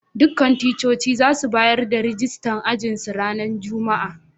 Dukan ticcocin za su bayar da rijistan ajin su ranan Juma'a.